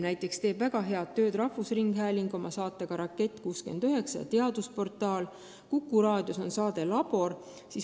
Näiteks teeb väga head tööd rahvusringhääling oma saatega "Rakett 69" ja teadusportaal, Vikerraadios on saade "Labor".